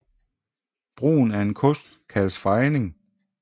Brugen af en kost kaldes fejning